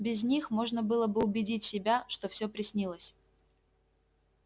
без них можно было бы убедить себя что всё приснилось